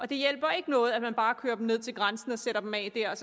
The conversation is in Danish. det hjælper ikke noget at man bare kører dem ned til grænsen og sætter dem af der og